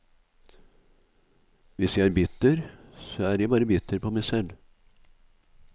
Hvis jeg er bitter, så er jeg bare bitter på meg selv.